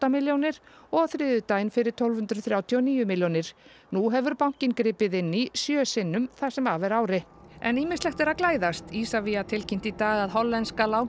milljónir og á þriðjudaginn fyrir tólf hundruð þrjátíu og níu milljónir nú hefur bankinn gripið inn í sjö sinnum það sem af er ári en ýmislegt er að glæðast Isavia tilkynnti í dag að hollenska